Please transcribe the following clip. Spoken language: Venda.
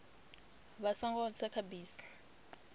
vha songo tsa kha bisi